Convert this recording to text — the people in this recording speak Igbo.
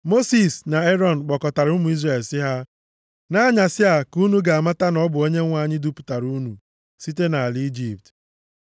Mosis na Erọn kpọkọtara ụmụ Izrel sị ha, “Nʼanyasị a ka unu ga-amata na ọ bụ Onyenwe anyị dupụtara unu site nʼala Ijipt.